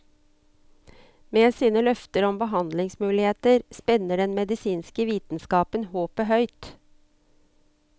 Med sine løfter om behandlingsmuligheter spenner den medisinske vitenskapen håpet høyt.